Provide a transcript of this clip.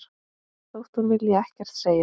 Þótt hún vilji ekkert segja.